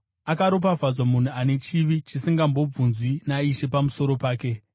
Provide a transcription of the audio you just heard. Akaropafadzwa munhu ane chivi chisingazombobvunzwi naIshe pamusoro pake.”